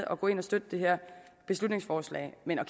at gå ind og støtte det her beslutningsforslag men at